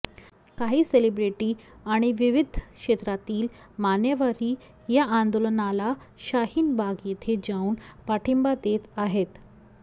काही सेलेब्रिटी आणि विविध क्षेत्रातील मान्यवरही या आंदोलनाला शाहिन बाग येथे जाऊन पाठिंबा देत आहेत